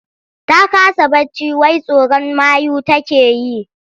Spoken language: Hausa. Ta kasa barci wai tsoron mayu take yi.